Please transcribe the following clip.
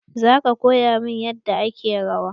Za ka koya min yadda ake rawa?